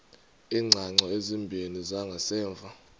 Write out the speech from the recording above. iingcango ezimbini zangasemva